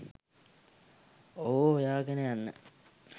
ඔහුව හොයාගෙන යන්න